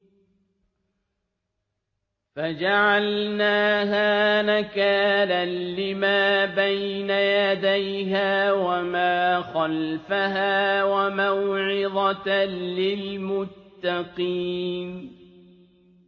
فَجَعَلْنَاهَا نَكَالًا لِّمَا بَيْنَ يَدَيْهَا وَمَا خَلْفَهَا وَمَوْعِظَةً لِّلْمُتَّقِينَ